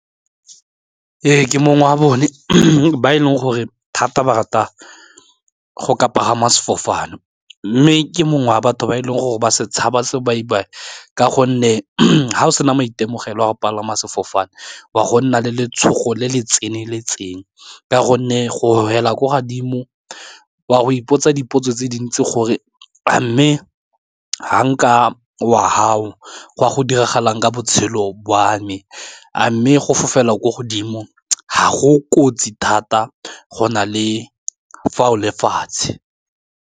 Ee ke mongwe wa bone ba e leng gore thata ba rata go ka pagama sefofane mme ke mongwe wa batho ba e leng gore ba se tshaba sebaibai ka gonne ga o sena maitemogelo a go palama sefofane wa go nna le letshogo le le tseneletseng ka gonne gore fela ko kadimo wa go ipotsa dipotso tse dintsi gore a mme ga nka wa gago go a go diragalang ka botshelo bo wa me, a mme go fofela kwa godimo ga go kotsi thata go na le fa o le fatshe.